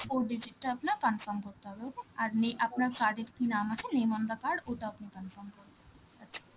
four digit টা আপনার confirm করতে হবে, okay? আর নে~ আপনার card এর কি নাম আছে, name on the card, ওটাও আপনি confirm করবেন, আচ্ছা